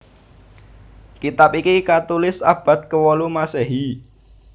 Kitab iki katulis abad kewolu Masehi